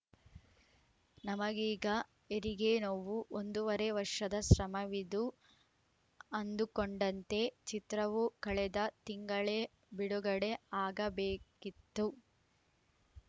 ನಮಗೀಗ ಹೆರಿಗೆ ನೋವು ಒಂದೂವರೆ ವರ್ಷದ ಶ್ರಮವಿದು ಅಂದುಕೊಂಡಂತೆ ಚಿತ್ರವು ಕಳೆದ ತಿಂಗಳೇ ಬಿಡುಗಡೆ ಆಗಬೇಕಿತ್ತು